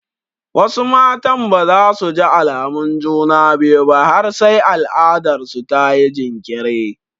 Wasu matan ba za su ji alamun juna biyu ba har sai al'adarsu ta yi jinkiri.